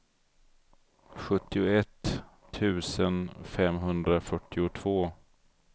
sjuttioett tusen femhundrafyrtiotvå